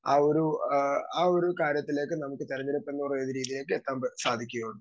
Speaker 2 ആ ഒരു അഹ് ആ ഒരു കാര്യത്തിലേക്ക് നമുക്ക് തെരഞ്ഞെടുപ്പെന്ന രീതിയിലേക്ക് എത്താൻ സാധിക്കുകയുള്ളൂ.